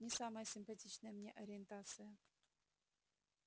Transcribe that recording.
не самая симпатичная мне ориентация